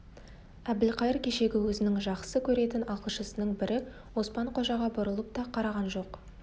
әбілқайыр кешегі өзінің жақсы көретін ақылшысының бірі оспан-қожаға бұрылып та қараған жоқ